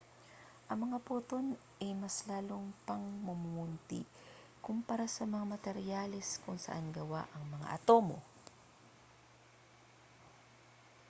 ang mga poton ay mas lalo pang mumunti kumpara sa mga materyales kung saan gawa ang mga atomo